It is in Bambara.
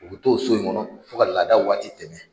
U bɛ to o so in kɔnɔ fo ka laada waati tɛmɛn.